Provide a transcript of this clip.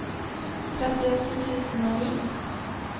trettiåtte tusen og ni